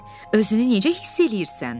Özünü necə hiss eləyirsən?